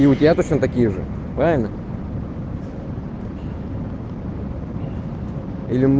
и у тебя точно такие же правильно или м